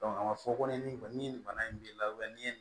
a ma fɔ ko ni nin kɔni ni nin bana in b'i la ni ye